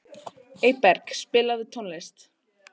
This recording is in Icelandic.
Eyberg, spilaðu tónlist.